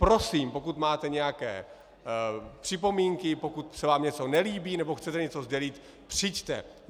Prosím, pokud máte nějaké připomínky, pokud se vám něco nelíbí nebo chcete něco sdělit, přijďte.